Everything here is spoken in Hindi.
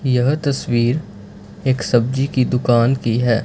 यह तस्वीर एक सब्जी की दुकान की है।